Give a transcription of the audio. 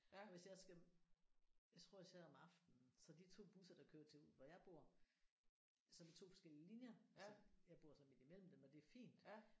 Og hvis jeg skal jeg tror jeg tager om aftenen så de 2 busser der kører til ud hvor jeg bor som er 2 forskellige linjer som jeg bor sådan midt imellem dem og det er fint